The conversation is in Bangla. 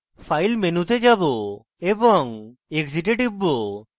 file মেনুতে যাবো এবং exit এ টিপব